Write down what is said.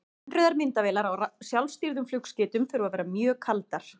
Innrauðar myndavélar á sjálfstýrðum flugskeytum þurfa að vera mjög kaldar.